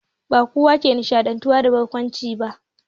Ba kowa ke nishantuwa da barkwanci ba